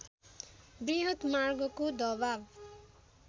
वृहत मार्गको दबाव